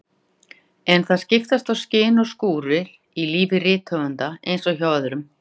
En það skiptast á skin og skúrir í lífi rithöfundar eins og hjá öðrum.